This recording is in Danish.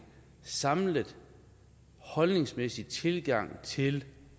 samlet holdningsmæssig tilgang til